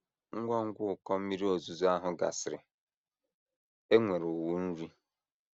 Ngwa ngwa ụkọ mmiri ozuzo ahụ gasịrị, e nwere ụnwụ nri.